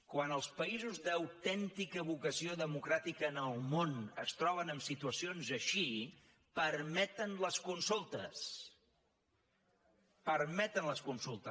quan els països d’autèntica vocació democràtica en el món es troben en situacions així permeten les consultes